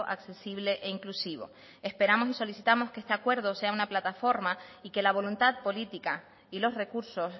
accesible e inclusivo esperamos y solicitamos que este acuerdo sea una plataforma y que la voluntad política y los recursos